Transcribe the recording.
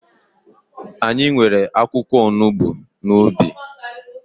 Anyị nwere akwụkwọ onugbu n'ubi